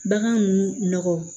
Bagan ninnu nɔgɔ